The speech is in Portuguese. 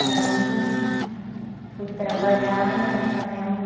Foi a onde eu fui trabalhar e ali também a mulher